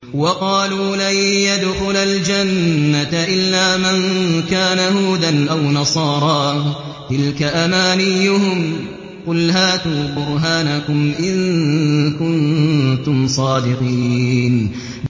وَقَالُوا لَن يَدْخُلَ الْجَنَّةَ إِلَّا مَن كَانَ هُودًا أَوْ نَصَارَىٰ ۗ تِلْكَ أَمَانِيُّهُمْ ۗ قُلْ هَاتُوا بُرْهَانَكُمْ إِن كُنتُمْ صَادِقِينَ